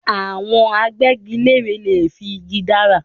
Àwọn Agbẹ́gilére lè fi igi dára